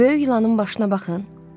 Böyük ilanının başına baxın.